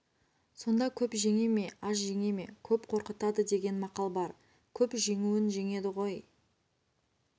сонда көп жеңе ме аз жеңе ме көп қорқытады деген мақал бар көп жеңуін жеңеді ғой